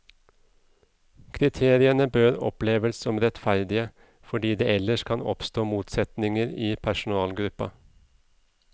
Kriteriene bør oppleves som rettferdige, fordi det ellers kan oppstå motsetninger i personalgruppa.